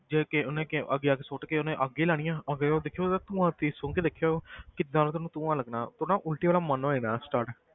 ਜਿਵੇਂ ਕਿ ਉਹਨੇ ਕਿ ਅੱਗੇ ਅੱਗੇ ਸੁੱਟ ਕੇ ਉਹਨੇ ਅੱਗ ਹੀ ਲਾਉਣੀ ਹੈ, ਉਹ ਫਿਰ ਉਹ ਦੇਖਿਓ ਉਹਦਾ ਧੂੰਆ ਤੁਸੀਂ ਸੁੰਗ ਕੇ ਦੇਖਿਓ ਕਿੱਦਾਂ ਦਾ ਤੁਹਾਨੂੰ ਧੂੰਆ ਲੱਗਣਾ, ਉਹ ਨਾ ਉੱਲਟੀ ਵਾਲਾ ਮਨ ਹੋ ਜਾਣਾ start